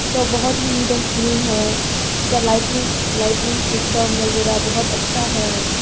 जो बहुत ही नीट एंड क्लीन है इसका लाइटनिंग लाइटनिंग सिस्टम वगैरह बहुत अच्छा है।